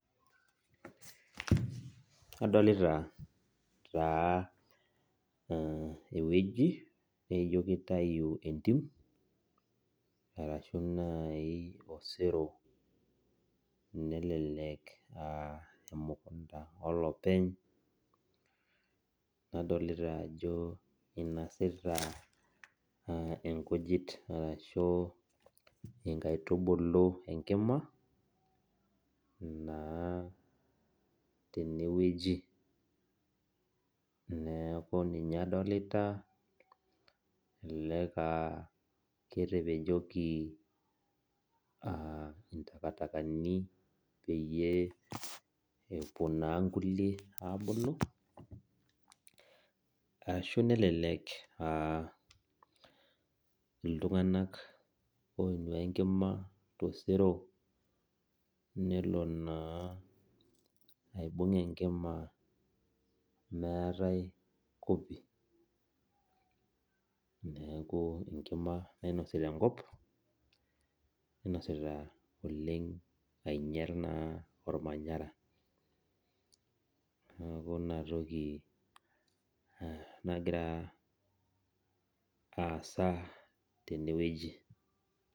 Adolita taa ewueji nijo kitayu entim, arashu nai osero nelelek ah emukunda olopeny, nadolita ajo inosa naa inkujit arashu nkaitubulu enkima, naa tenewueji. Neeku ninye adolita, elelek ah ketepejoki intakatakani peyie epuo naa nkulie abulu, ashu nelelek iltung'anak oinua enkima tosero, nelo naa aibung' enkima meetae kopi, neeku enkima nainosita enkop, ninosita oleng ainyal naa ormanyara. Neeku inatoki nagira aasa tenewueji.